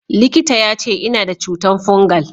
Likita ya ce, Ina da cutan fungal.